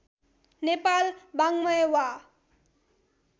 नेपाला वाङ्मय वा